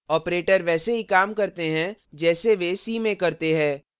operators वैसे ही काम करते हैं जैसे वे c में करते हैं